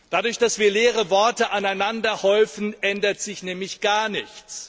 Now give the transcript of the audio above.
Dadurch, dass wir leere Worte aneinanderhäufen, ändert sich nämlich gar nichts.